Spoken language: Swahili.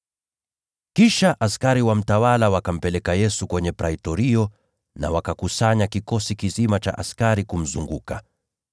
Kisha askari wa mtawala wakampeleka Yesu kwenye Praitorio na wakakusanya kikosi kizima cha askari kumzunguka.